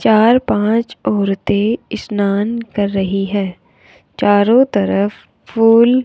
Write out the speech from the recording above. चार पांच औरतों स्नान कर रही है चारों तरफ फूल --